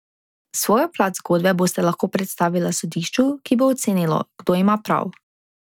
Svojo plat zgodbe bosta lahko predstavila sodišču, ki bo ocenilo, kdo ima prav.